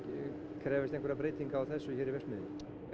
krefjast einhverra breytinga á þessu hér í verksmiðjunni